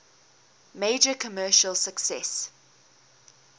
major commercial success